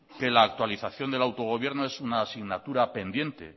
que la actualización del autogobierno es un asignatura pendiente